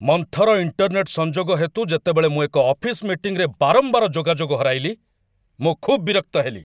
ମନ୍ଥର ଇଣ୍ଟର୍ନେଟ୍‌ ସଂଯୋଗ ହେତୁ ଯେତେବେଳେ ମୁଁ ଏକ ଅଫିସ୍‌ ମିଟିଂରେ ବାରମ୍ବାର ଯୋଗାଯୋଗ ହରାଇଲି, ମୁଁ ଖୁବ୍ ବିରକ୍ତ ହେଲି